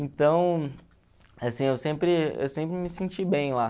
Então, assim, eu sempre eu sempre me senti bem lá.